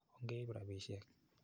Ongeip rapisyek.